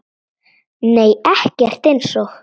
Nei ekkert eins og